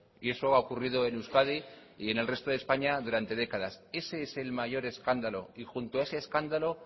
y eso ha ocurrido en euskadi y en el resto de españa durante décadas ese es el mayor escándalo y junto a ese escándalo